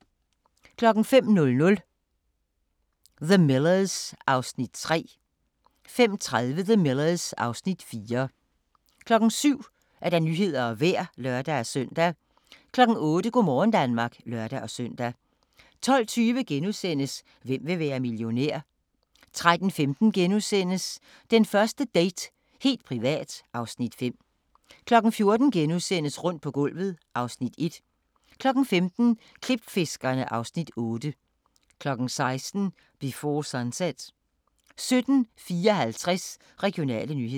05:00: The Millers (Afs. 3) 05:30: The Millers (Afs. 4) 07:00: Nyhederne og Vejret (lør-søn) 08:00: Go' morgen Danmark (lør-søn) 12:20: Hvem vil være millionær? * 13:15: Den første date – helt privat (Afs. 5)* 14:00: Rundt på gulvet (Afs. 1)* 15:00: Klipfiskerne (Afs. 8) 16:00: Before Sunset 17:54: Regionale nyheder